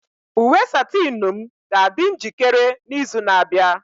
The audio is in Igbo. Uwe satinu m ga-adị njikere n'izu na-abịa.